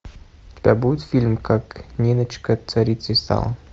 у тебя будет фильм как ниночка царицей стала